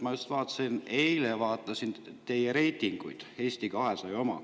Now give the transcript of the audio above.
Ma just eile vaatasin teie reitingut, Eesti 200 oma.